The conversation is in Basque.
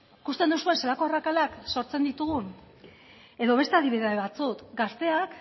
ikusten duzue zelako arrakalak sortzen ditugun edo beste adibide batzuk gazteak